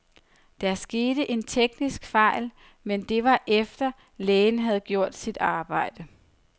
Der skete en teknisk fejl, men det var efter, lægen havde gjort sit arbejde.